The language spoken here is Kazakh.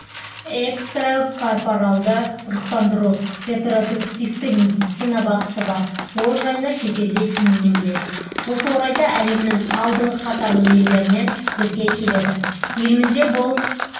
экстракорпоралды ұрықтандыру репродуктивті медицина бағыты бар ол жайында шетелде кеңінен біледі осы орайда әлемнің алдыңғы қатарлы елдерінен бізге келеді елімізде бұл